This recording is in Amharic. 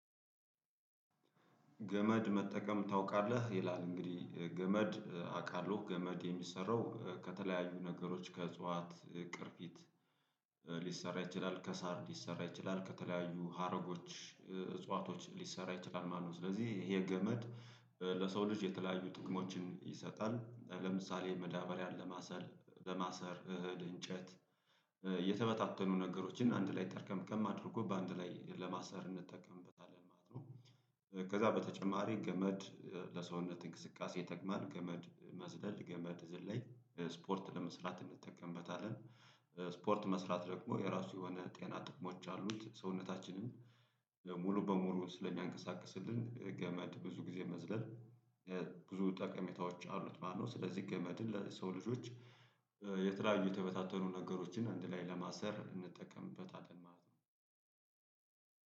ገመድ መጠቀም ታውቃለህ ይላል እንግዲህ ገመድ አውቃለሁ ገመድ የሚሰራው ከተለያዩ ነገሮች ከእጽዋት ቅርፊት ሊሰራ ይችላል ከሳር ሊሰራ ይችላል ከተለያዩ ሀረጎች እጽዋቶች ሊሰራ ይችላል ማለት ነው። ስለዚህ ይሄ ገመድ። ለሰው ልጅ የተለያዩ ጥቅሞችን ይሰጣል ለምሳሌ መዳበሪያን ለማሰር ለማሰር እህል እንጨት የተበታተኑ ነገሮችን አንድ ላይ ጠርቀምቀም አድርጎ በአንድ ላይ ለማሰር እንጠቀምበታለን ማለት ነው። ከዛ በተጨማሪ ገመድ ለሰውነት እንቅስቃሴ ይጠቅማል ገመድ መዝለል ገመድ ዝላይ ስፖርት ለመስራት እንጠቀምበታለን። ስፖርት መስራት ደግሞ የራሱ የሆነ ጤና ጥቅሞች አሉት። ሰውነታችንን ሙሉ በሙሉ ስለሚያንቀሳቅስልን ገመድ ብዙ ጊዜ መዝለል ብዙ ጠቀሜታዎች አሉት ማለት ነው። ስለዚህ ገመድን ለሰው ልጆች የተለያዩ የተበታተኑ ነገሮችን አንድ ላይ ለማሰር እንጠቀምበታለን ማለት ነው።